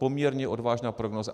Poměrně odvážná prognóza.